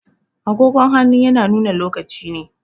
Agogon hannu yana nuna lokaci ne